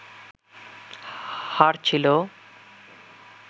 হার ছিলো